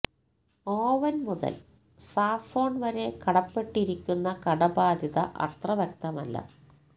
oven മുതൽ സാസോൺ വരെ കടപ്പെട്ടിരിക്കുന്ന കടബാധ്യത അത്ര വ്യക്തമല്ല